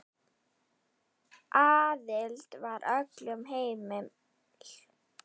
Aðild var öllum heimil.